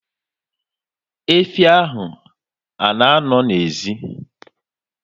Efi ha a nọ n'ezi?